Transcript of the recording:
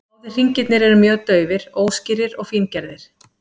Báðir hringirnir eru mjög daufir, óskýrir og fíngerðir.